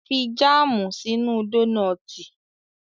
Fi jáàmù sínú dónọ́tì